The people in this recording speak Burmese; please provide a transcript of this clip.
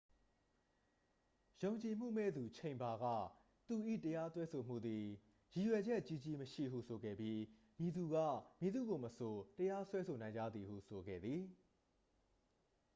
"ယုံကြည်မှုမဲ့သူ ချိန်ဘာ က သူ၏ တရားစွဲဆိုမှုသည် "ရည်ရွယ်ချက်ကြီးကြီးမရှိ""ဟု ဆိုခဲ့ပြီး "မည်သူက မည်သူ့ကိုမဆို တရားစွဲဆိုနိုင်ကြသည်""ဟု ဆိုခဲ့သည်။